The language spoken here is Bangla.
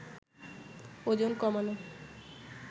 ওজন কমানো